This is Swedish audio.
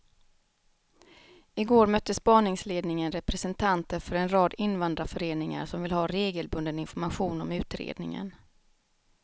I går mötte spaningsledningen representanter för en rad invandrarföreningar som vill ha regelbunden information om utredningen.